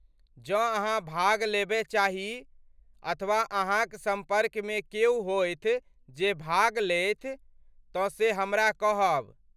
जँ अहाँ भाग लेबय चाही, अथवा अहाँक सम्पर्कमे क्यो होथि जे भाग लेथि, तँ से हमरा कहब।